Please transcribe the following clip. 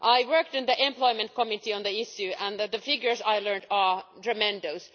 I worked in the Employment Committee on the issue, and the figures I learned are tremendous.